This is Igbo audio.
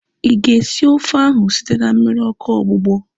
Ịga esi ofe ahu site na mmiri ọkụ ogbugbọ?